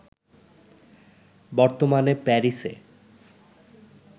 বর্তমানে প্যারিসে